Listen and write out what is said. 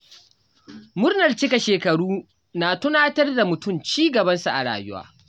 Murnar cikar shekaru na tunatar da mutum ci gabansa a rayuwa.